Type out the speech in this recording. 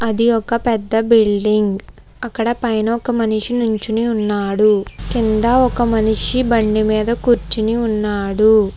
ఇది ఒక పెద్ద బిల్డింగ్ . అక్కడ పైన ఒక మనిషి నుంచుని ఉన్నాడు కింద ఒక మనిషి బండిమీద కూర్చుని ఉన్నాడు.